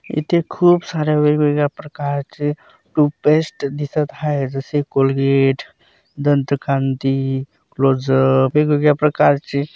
इथे खुप सार्‍या वेगवेगळ्या प्रकारचे टूथपेस्ट दिसत आहेत जसे कोलगेट दंतकान्ति क्लोजअप वेगवेगळ्या प्रकारचे --